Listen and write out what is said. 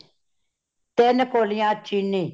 ਤਿਨ ਕੋਲਿਆਂ ਚੀਨੀ